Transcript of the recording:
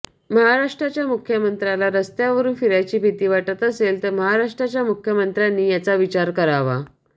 महाराष्ट्राच्या मुख्यमंत्र्याला रस्त्यांवरुन फिरायची भिती वाटत असेल तर महाराष्ट्राच्या मुख्यमंत्र्यांनी याचा विचार करावा